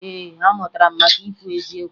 Ee, amụtara m maka ikwu eziokwu